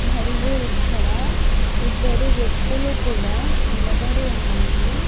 మరియు ఇక్కడ ఇద్దరు వ్యక్తులు కూడా నిలబడి ఉన్నారు.